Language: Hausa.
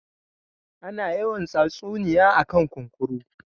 Ana yawan tsatsuniya a kan kunkuru